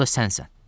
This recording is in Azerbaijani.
O da sənsən.